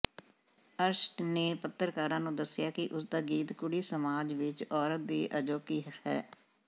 ਅਰਸ਼ ਨੇ ਪੱਤਕਾਰਾਂ ਨੂੰ ਦੱਸਿਆ ਕਿ ਉਸਦਾ ਗੀਤ ਕੁੜੀ ਸਮਾਜ ਵਿੱਚ ਔਰਤ ਦੀ ਅਜੋਕੀ ਹ